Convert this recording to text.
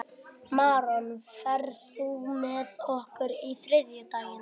Maron, ferð þú með okkur á þriðjudaginn?